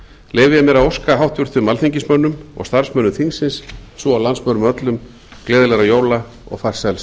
leyfi ég mér að óska háttvirtum alþingismönnum og starfsmönnum þingsins svo og landsmönnum öllum gleðilegra jóla og farsæls